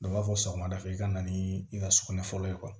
Dɔ b'a fɔ sɔgɔmada fɛ i ka na ni i ka sugunɛ fɔlɔ